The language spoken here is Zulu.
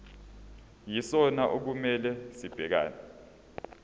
yisona okumele sibhekane